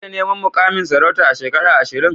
Za ka iya neman mukamin sarauta a shekara ashirin?